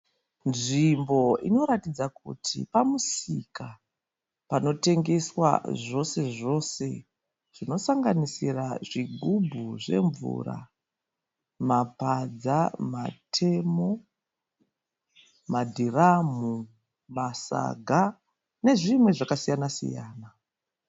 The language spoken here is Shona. Nzvimbo inoratidza kuti pamusika panotengeswa zvose-zvose zvinosanganisira zvigubhu zvemvura, mapadza, matemo, madhiramhu, masaga nezvinhu zvakasiyana-siyana.